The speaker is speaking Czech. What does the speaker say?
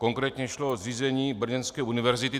Konkrétně šlo o zřízení brněnské univerzity.